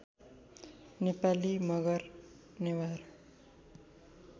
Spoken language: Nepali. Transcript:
नेपाली मगर नेवार